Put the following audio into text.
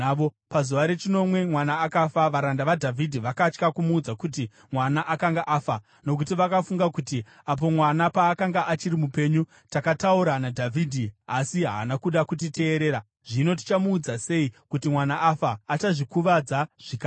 Pazuva rechinomwe mwana akafa. Varanda vaDhavhidhi vakatya kumuudza kuti mwana akanga afa, nokuti vakafunga kuti, “Apo mwana paakanga achiri mupenyu, takataura naDhavhidhi asi haana kuda kutiteerera. Zvino tichamuudza sei kuti mwana afa? Achazvikuvadza zvikada.”